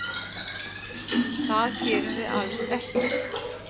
Það gerum við alls ekki.